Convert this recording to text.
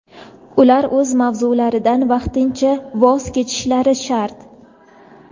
ular o‘z lavozimlaridan vaqtincha voz kechishlari shart.